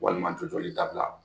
Walima jɔjɔli dabila